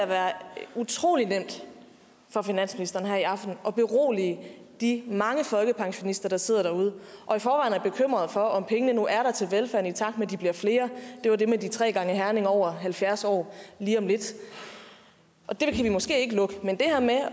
være utrolig nemt for finansministeren her i aften at berolige de mange folkepensionister der sidder derude og i forvejen er bekymrede for om pengene nu er der til velfærden i takt med de bliver flere det var det med de tre gange herning over halvfjerds år lige om lidt det kan vi måske ikke lukke men det her med